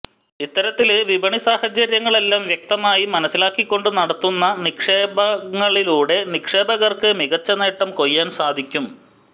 ഇത്തരത്തില് വിപണി സാഹചര്യങ്ങളെല്ലാം വ്യക്തമായി മനസ്സിലാക്കിക്കൊണ്ട് നടത്തുന്ന നിക്ഷേപങ്ങളിലൂടെ നിക്ഷേപകര്ക്ക് മികച്ച നേട്ടം കൊയ്യാന് സാധിക്കും